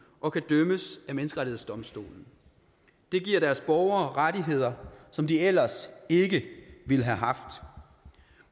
og kan dømmes af menneskerettighedsdomstolen det giver deres borgere rettigheder som de ellers ikke ville have haft